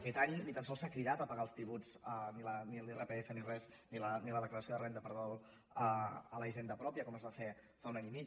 aquest any ni tan sols s’ha cridat a pagar els tributs ni l’irpf ni la declaració de renda a la hisenda pròpia com es va fer fa un any i mig